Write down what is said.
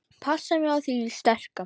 Passa mig á því sterka.